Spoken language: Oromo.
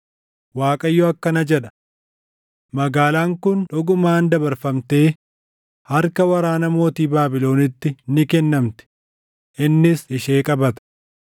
Waaqayyo akkana jedha: ‘Magaalaan kun dhugumaan dabarfamtee harka waraana mootii Baabilonitti ni kennamti; innis ishee qabata.’ ”